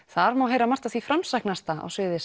þar má heyra margt af því framsæknasta á sviði